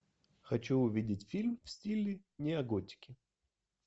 хочу увидеть фильм в стиле нео готики